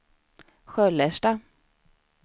Sköllersta